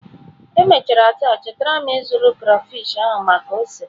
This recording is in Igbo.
Emechara taa chetara m ịzụrụ catfish ahụ maka ose.